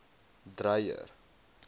dreyer